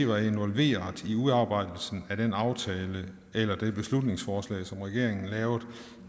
var involveret i udarbejdelsen af den aftale eller det beslutningsforslag som regeringen lavede